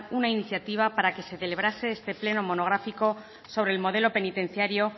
una iniciativa para que se celebrase este pleno monográfico sobre el modelo penitenciario